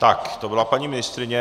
Tak to byla paní ministryně.